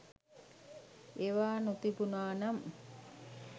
ඒවා නොතිබුනා නම්